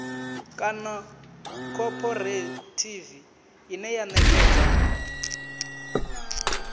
kana khophorethivi ine ya ṋekedza